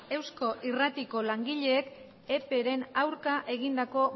eusko irratiko langileek eperen aurka egindako